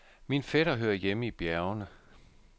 Min fætter hører hjemme i bjergene.